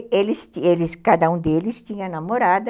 Eles, eles, cada um deles tinha namorada,